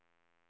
OK